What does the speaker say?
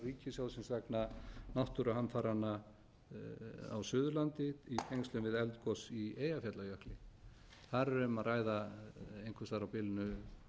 ríkissjóðsins vegna náttúruhamfaranna á suðurlandi í tengslum við eldgos í eyjafjallajökli þar er um að ræða einhvers staðar á bilinu